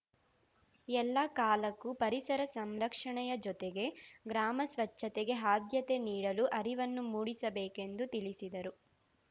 ಎಲ್ಲ ಕಾಲಕ್ಕೂ ಪರಿಸರ ಸಂರಕ್ಷಣೆಯ ಜೊತೆಗೆ ಗ್ರಾಮ ಸ್ವಚ್ಛತೆಗೆ ಆದ್ಯತೆ ನೀಡಲು ಅರಿವನ್ನು ಮೂಡಿಸಬೇಕೆಂದು ತಿಳಿಸಿದರು